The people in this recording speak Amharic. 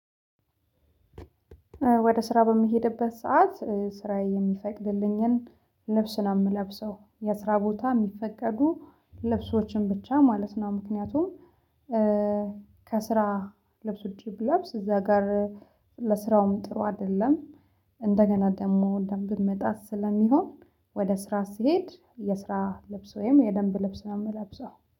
ወደ ስራ በምሄድበት ሰዓት ስራዬ የሚፈቅድልኝን ልብስ ነው የምለብሰው የስራ ቦታ የሚፈቀዱ ልብሶችን ብቻ ማለት ነው። ምክንያቱም ልብስ ውጪ ብለብስ እዛ ጋር ለስራውም ጥሩ አይደለም። እንደገና ደግሞ ደንብን መጣስ ስለሚሆን ወደ ስራ ስሄድ የስራ ልብስ ወይም የደንብ ልብስ ነው የምለብሰው